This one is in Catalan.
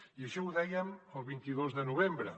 i això ho dèiem el vint dos de novembre